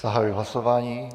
Zahajuji hlasování.